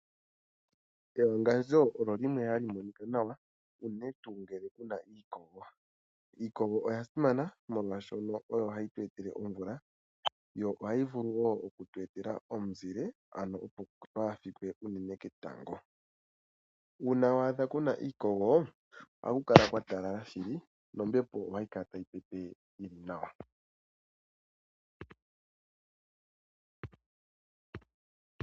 Ewangandjo olyo limwe hali monika nawa unene tuu ngele ku na iikogo. Iikogo oya simana, molwashono oyo hayi tu etele omvula yo ohayi vulu wo oku tu etela omuzile ano opo twaafikwe unene ketango. Uuna wa adha ku na iikogo ohaku kala kwa talala shili nombepo ohayi kala tayi pepe nawa .